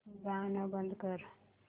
गाणं बंद कर